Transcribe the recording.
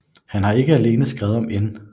Han har ikke alene skrevet om N